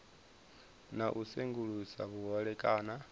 na u sengulusa vhuhole kana